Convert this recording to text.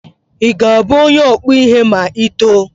Ị ga-abụ onye ọkpụ ihe ma Ị too?